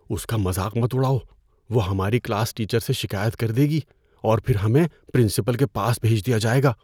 اس کا مذاق مت اڑاؤ۔ وہ ہماری کلاس ٹیچر سے شکایت کر دے گی اور پھر ہمیں پرنسپل کے پاس بھیج دیا جائے گا۔